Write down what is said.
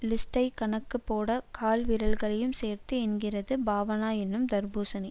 லிஸ்ட்டை கணக்கு போட கால் விரல்களையும் சேர்த்து எண்ணுகிறது பாவனா என்னும் தர்பூசணி